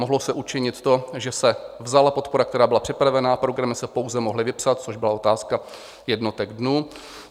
Mohlo se učinit to, že se vzala podpora, která byla připravena, programy se pouze mohly vypsat, což byla otázka jednotek dnů.